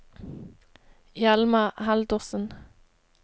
Hjalmar Haldorsen